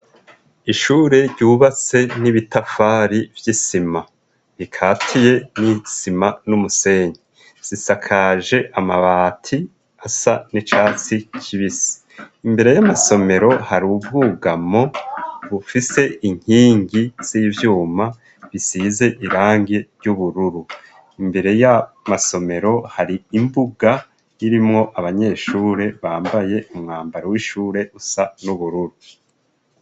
Ishure ryubatse n'ibitafari vy'isima bikatiye :n'isima, n'umusenyi, zisakaje amabati asa n'icatsi kibisi, imbere y'amasomero ,hari ubwugamo bufise inkingi z'ivyuma ,bisize irangi ry'ubururu ,imbere yayo masomero hari imbuga irimwo abanyeshure bambaye umwambaro w'ishure, usa n'ubururu.